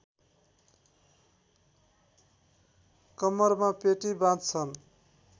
कम्मरमा पेटी बाँध्छन्